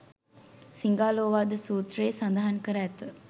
සිඟාලෝවාද සූත්‍රයේ සදහන් කර ඇත.